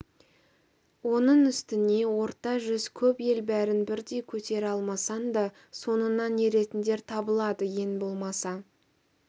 оның үстіне орта жүз көп ел бәрін бірдей көтере алмасаң да соңыңнан еретіндер табылады ең болмаса